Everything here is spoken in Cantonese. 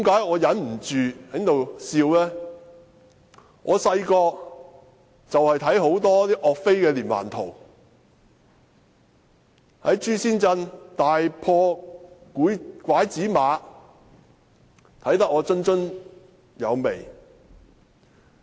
我小時候看了很多有關岳飛的連環圖，例如岳飛在朱仙鎮大破拐子馬，我可看得津津有味。